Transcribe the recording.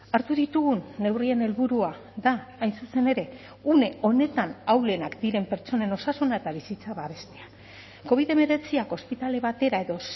hartu ditugun neurrien helburua da hain zuzen ere une honetan ahulenak diren pertsonen osasuna eta bizitza babestea covid hemeretziak ospitale batera edo